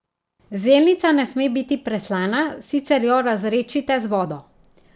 Zelnica ne sme biti preslana, sicer jo razredčite z vodo.